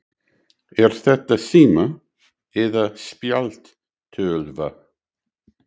Er þetta sími eða spjaldtölva?